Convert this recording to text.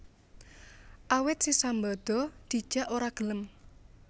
Awit si Sambada dijak ora gelem